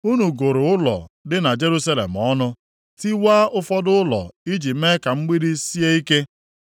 Unu gụrụ ụlọ dị na Jerusalem ọnụ, tiwaa ụfọdụ ụlọ iji mee ka mgbidi sie ike.